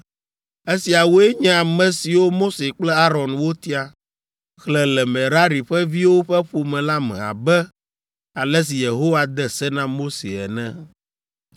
Esiawoe nye ame siwo Mose kple Aron wotia, xlẽ le Merari ƒe viwo ƒe ƒome la me abe ale si Yehowa de se na Mose ene.